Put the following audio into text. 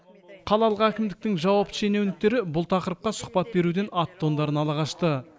қалалық әкімдіктің жауапты шенеуніктері бұл тақырыпқа сұхбат беруден ат тондарын ала қашты